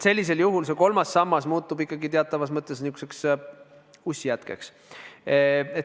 Sellisel juhul kolmas sammas muutub ikkagi teatavas mõttes nihukeseks ussjätkeks.